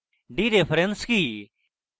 dereference কি